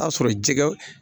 A sɔrɔ jɛgɛ